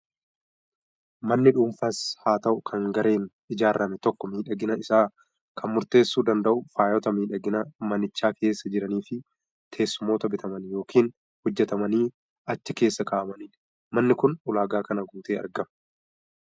Manni dhuunfaas haa ta'u kan gareen ijaarame tokko miidhagina isaa kan murteessuu danda'u faayota miidhaginaa manicha keessa jiranii fi teessumoota bitamanii yookiin hojjetamanii achi keessa kaa'amanidha. Manni kun ulaagaa kana guutee argama.